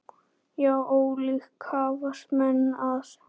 Já, ólíkt hafast menn að.